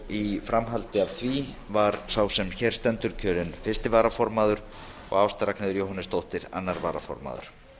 í framhaldi af því var birgir ármannsson kosinn fyrsti varaformaður og ásta r jóhannesdóttir annar varaformaður